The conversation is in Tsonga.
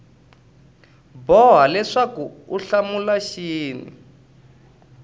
boha leswaku u hlamula xin